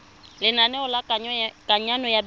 lenaneo la kananyo ya baithuti